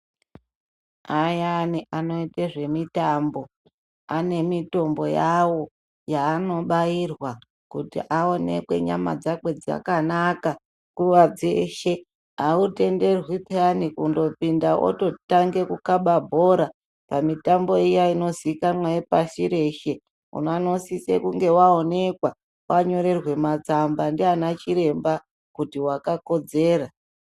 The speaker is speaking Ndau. Ayani anoite zvemitambo ane mitombo yawo yaanobairwa kuti aonekwe nyama dzakwe dzakanaka nguva dzeshe. Hautenderwi phiyani kundopinda ototange kukaba bhora pamitambo iya inozikanwa yepasi reshe. Unonosise kunge waonekwa, wanyorerwa matsamba ndiana chiremba kuti wakakodzera.